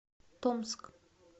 томск